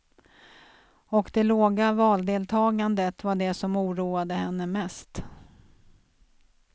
Och de låga valdeltagandet var det som oroade henne mest.